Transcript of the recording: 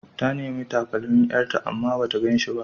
Ta nemi takalmin ƴarta amma bata gan shi ba.